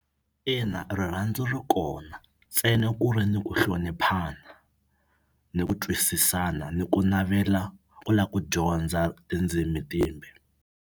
Ina rirhandzu ri kona ntsena ku ri ni ku hloniphana ni ku twisisana ni ku navela ku la ku dyondza tindzimi timbe.